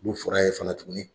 Mun fɔr'a' ye fana tuguni